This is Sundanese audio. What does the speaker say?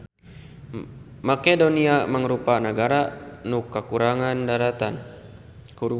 Makedonia mangrupa nagara nu kakurung daratan.